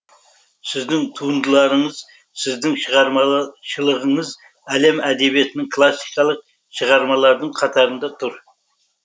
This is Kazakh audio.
сіздің туындыларыңыз сіздің шығармашылығыңыз әлем әдебиетінің классикалық шығармалардың қатарында тұр